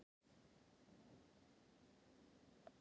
Hugsanlega eftirþankar Júlíu.